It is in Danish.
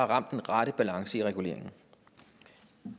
ramt den rette balance i reguleringen